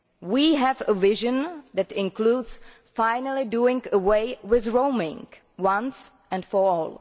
We have a vision that includes finally doing away with roaming once and for all.